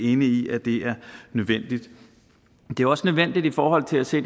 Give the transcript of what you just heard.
enige i at det er nødvendigt det er også nødvendigt i forhold til at se